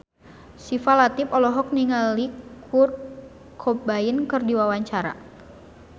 Syifa Latief olohok ningali Kurt Cobain keur diwawancara